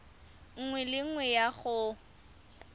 nngwe le nngwe ya go